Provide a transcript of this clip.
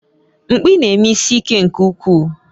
Mkpi na-eme isi ike nke ukwuu